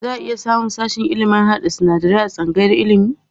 Za a iya samun sashen ilimin harhaɗa sinadarai a tsangayar ilimi.